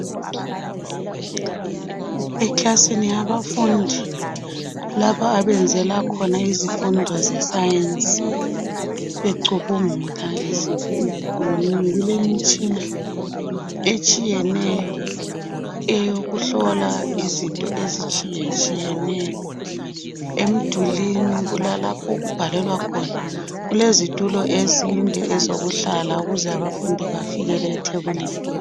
Eklasini yabafundi, lapha abenzela khona izifundo zeScience. Becubungula izinto. Kulemitshina etshiyeneyo, eyokuhlola izinto ezitshiyetshiyeneyo. Emdulwini, kulalapho okubhalelwa khona. Kulezitulo ezinde, ezokuhlala, ukuze abafundi bafikele ethebulini.